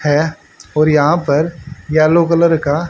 है और यहां पर येलो कलर का--